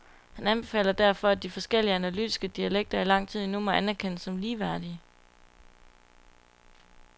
Han anbefaler derfor, at de forskellige analytiske dialekter i lang tid endnu må anerkendes som ligeværdige.